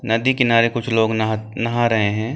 नदी किनारे कुछ लोग नहा नहा रहे हैं।